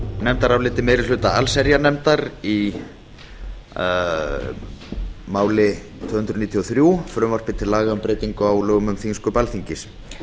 nefndaráliti meiri hluta allsherjarnefndar í máli tvö hundruð níutíu og þrjú frumvarpi til laga um breytingu á lögum um þingsköp alþingis